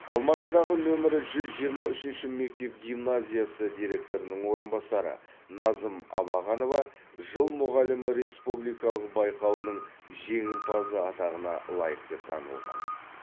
алматыдағы нөмірі жүз жиырма үшінші мектеп гимназиясы директорының орынбасары назым абағанова жыл мұғалімі республикалық байқауының жеңімпазы атағына лайық деп танылған